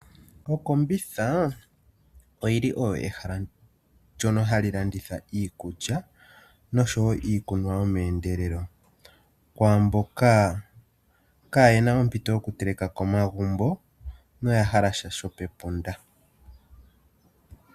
Okombitha oyili oyo ehala ndjono hali landitha iikulya noshowo iikunwa yome endelelo kwa mboka kayena ompito yoku teleka komagumbo noya hala sha shopepunda.